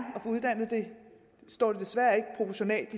desværre ikke proportionalt